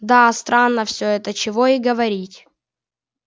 да странно все это чего и говорить